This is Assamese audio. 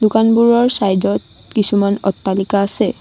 দোকানবোৰৰ চাইডত কিছুমান অট্টালিকা আছে।